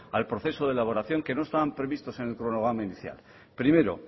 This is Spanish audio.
al proceso de elaboración que no estaban previstos en el cronograma inicial primero